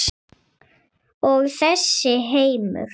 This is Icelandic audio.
Og þessi heimur?